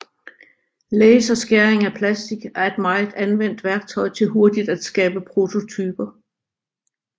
Laserskæring af plastic er et meget anvendt værktøj til hurtigt at skabe prototyper